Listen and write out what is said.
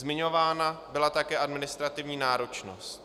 Zmiňována byla také administrativní náročnost.